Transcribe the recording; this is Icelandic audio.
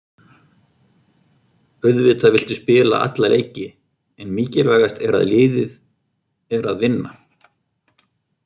Auðvitað viltu spila alla leiki en mikilvægast er að liðið er að vinna.